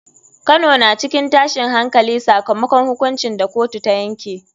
Kano na cikin tashin hankali sakamakon hukuncin da kotu ta yanke.